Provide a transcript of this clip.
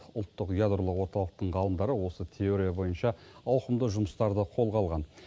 ұлттық ядролық орталықтың ғалымдары осы теория бойынша ауқымды жұмыстарды қолға алған